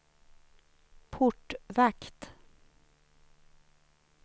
portvakt